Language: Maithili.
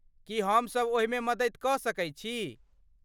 की हम सब ओहिमे मददि कऽ सकै छी?